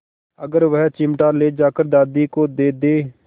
अगर वह चिमटा ले जाकर दादी को दे दे